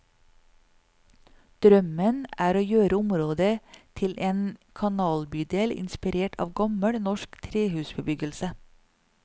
Drømmen er å gjøre området til en kanalbydel inspirert av gammel norsk trehusbebyggelse.